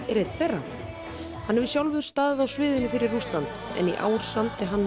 er einn þeirra hann hefur sjálfur staðið á sviðinu fyrir Rússland en í ár samdi hann